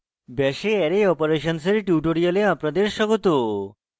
bash এ array operations এর tutorial আপনাদের স্বাগত